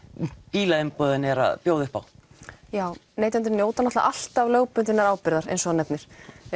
bílaumboðin eru að bjóða upp á já neytendur njóta náttúrulega alltaf lögbundinnar ábyrgðar eins og þú nefnir